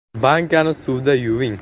Bankani suvda yuving.